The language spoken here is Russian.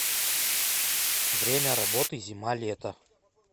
время работы зималето